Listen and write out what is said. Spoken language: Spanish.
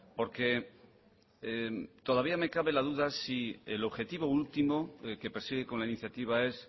porque todavía me cabe la duda que si el objetivo último que persigue con la iniciativa es